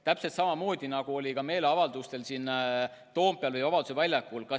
Täpselt samamoodi oli ka meeleavaldustel siin Toompeal ja Vabaduse väljakul.